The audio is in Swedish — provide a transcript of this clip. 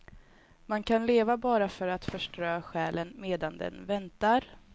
Man kan leva bara för att förströ själen medan den väntar.